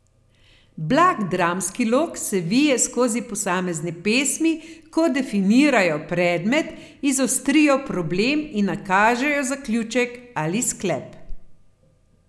Blag dramski lok se vije skozi posamezne pesmi, ko definirajo predmet, izostrijo problem in nakažejo zaključek ali sklep.